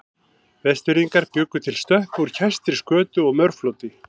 Vestfirðingar bjuggu til stöppu úr kæstri skötu og mörfloti.